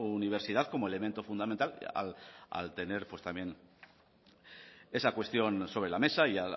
universidad como elemento fundamental al tener también esa cuestión sobre la mesa y